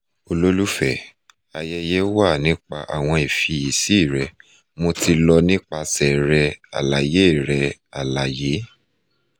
ololufe ayeye wa nipa awọn ifiyesi rẹ mo ti lọ nipasẹ rẹ alaye rẹ alaye